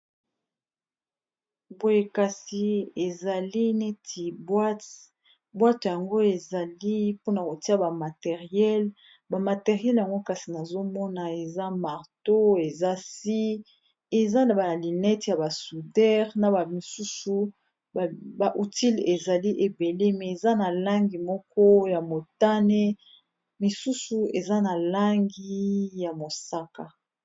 boye kasi ezali neti bwate bwato yango ezali mpona kotia bamateriele bamateriele yango kasi nazomona eza marto eza si eza na baalinete ya basudare na amisusu bautile ezali ebele me eza na langi moko ya motane misusu eza na langi ya mosaka